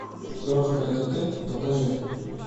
крошка это ты покажи